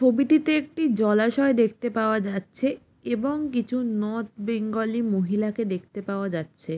পবিটিতে একটি জলাশয় দেখতে পাওয়া যাচ্ছে এবং কিছু নর্থ বেঙ্গলী মহিলাকে দেখতে পাওয়া যাচ্ছে।